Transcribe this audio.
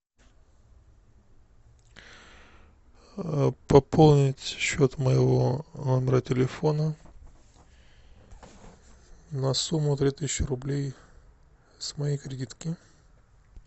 пополнить счет моего номера телефона на сумму три тысячи рублей с моей кредитки